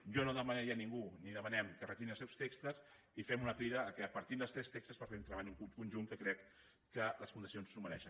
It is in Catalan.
jo no demanaria a ningú ni ho demanem que retirin els seus textos i fem una crida que partim dels tres textos per fer un treball conjunt que crec que les condicions s’ho mereixen